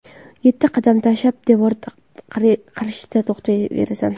Yetti qadam tashab, devor qarshisida to‘xtaysan.